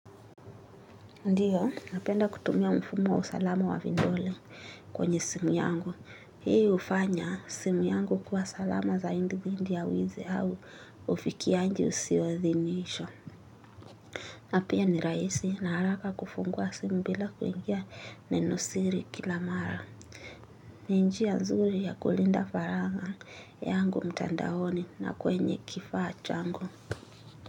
Ndiyo, napenda kutumia mfumo wa usalama wa vindole kwenye simu yangu. Hii ufanya simu yangu kuwa salama zaindi dhindi ya wizi au ufikianji usio dhinishwa. Na pia ni raisi na haraka kufungua simu bila kuingia nenosiri kila mara. Ni njia nzuri ya kulinda faragha yangu mtandaoni na kwenye kifaa changu.